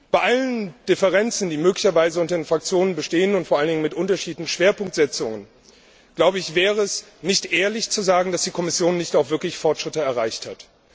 Bei allen Differenzen, die möglicherweise unter den Fraktionen bestehen, und vor allen Dingen mit unterschiedlichen Schwerpunktsetzungen, glaube ich, wäre es nicht ehrlich zu sagen, dass die Kommission nicht auch wirklich Fortschritte erreicht hat.